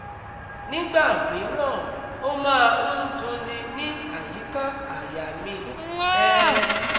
Nígbà mìíràn ó máa ń dunni ní àyíká àyà mi um